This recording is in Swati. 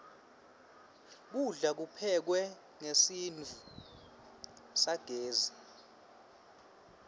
kudla kuphekwe ngesitfu sagezi